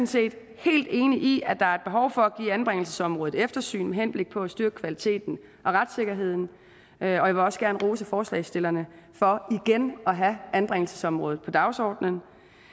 set helt enig i at der er behov for at give anbringelsesområdet et eftersyn med henblik på at styrke kvaliteten og retssikkerheden og jeg vil også gerne rose forslagsstillerne for igen at have anbringelsesområdet på dagsordenen